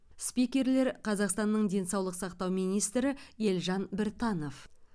спикерлер қазақстанның денсаулық сақтау министрі елжан біртанов